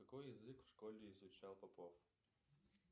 какой язык в школе изучал попов